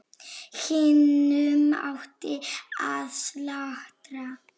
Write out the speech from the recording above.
Hinum átti að slátra.